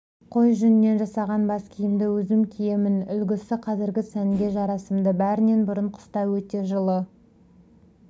қой жүнінен жасаған бас киімді өзім киемін үлгісі қазіргі сәнге жарасымды бәрінен бұрын қыста өте жылы